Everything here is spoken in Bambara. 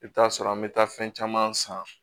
I bɛ t'a sɔrɔ an bɛ taa fɛn caman san